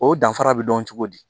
O danfara bɛ dɔn cogo di